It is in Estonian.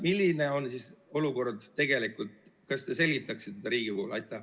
Milline on siis olukord tegelikult, kas te selgitaksite Riigikogule?